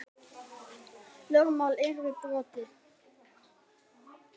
Lögmál yrði brotið.